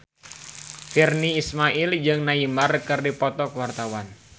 Virnie Ismail jeung Neymar keur dipoto ku wartawan